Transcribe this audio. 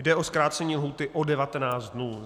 Jde o zkrácení lhůty o 19 dnů.